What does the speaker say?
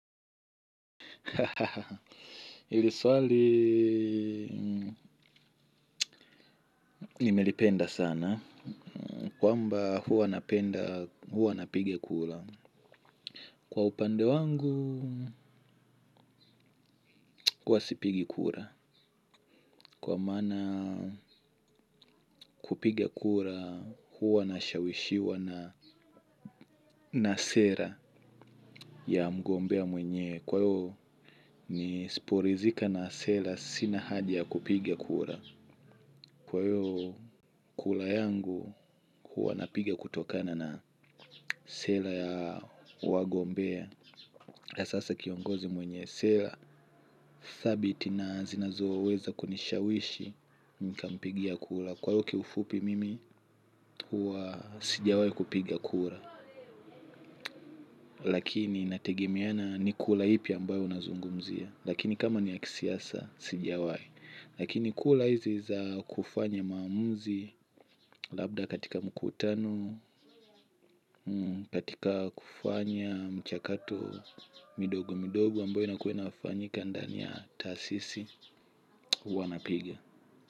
Hili swali nimelipenda sana. Kwamba huwa napenda huwa napiga kura. Kwa upande wangu huwa sipigi kura. Kwa maana kupigia kura huwa nashawishiwa na sera ya mgombea mwenyewe kwa hivo nisiporithika na sera sina haja ya kupiga kura. Kwa hiyo kura yangu huwa napiga kutokana na sera ya wagombea. Kwa sasa kiongozi mwenye sera thabit na zinazoweza kunishawishi nikampigia kura. Kwa hiyo kiufupi mimi huwa sijawai kupiga kura. Lakini nategemiana ni kura ipi ambayo unazungumzia. Lakini kama ni ya kisiasa sijawai. Lakini kura hizi za kufanya maamuzi labda katika mkutano katika kufanya mchakato midogo midogo ambayo inakuwa inafanyika ndani ya taasisi huwa napiga.